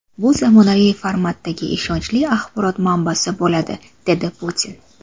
Bu zamonaviy formatdagi ishonchli axborot manbasi bo‘ladi”, dedi Putin.